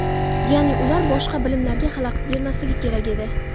Ya’ni ular boshqa bilimlilarga xalaqit bermasligi kerak edi.